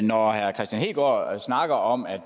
når herre kristian hegaard snakker om at